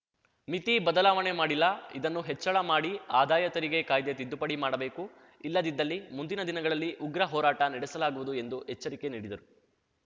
ಮಿತಿ ಬದಲಾವಣೆ ಮಾಡಿಲ್ಲ ಇದನ್ನು ಹೆಚ್ಚಳ ಮಾಡಿ ಆದಾಯ ತೆರಿಗೆ ಕಾಯ್ದೆ ತಿದ್ದುಪಡಿ ಮಾಡಬೇಕು ಇಲ್ಲದಿದ್ದಲ್ಲಿ ಮುಂದಿನ ದಿನಗಳಲ್ಲಿ ಉಗ್ರ ಹೋರಾಟ ನಡೆಸಲಾಗುವುದು ಎಂದು ಎಚ್ಚರಿಕೆ ನೀಡಿದರು